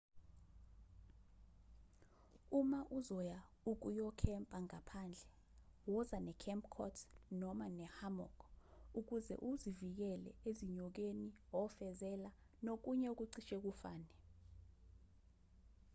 uma uzoya ukuyokhempa ngaphandle woza ne-camp cot noma ne-hammock ukuze uzivikele ezinyokeni ofezela nokunye okucishe kufane